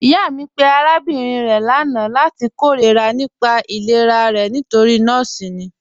Iyà mi pẹ̀ arábìnrin rẹ̀ lána lati kèróra nípà ìlẹ̀rà rẹ̀ nítorí nọọ̀si ni.